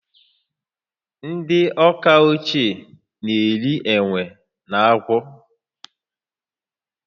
Ndị Awka ochie na-eri enwe na agwọ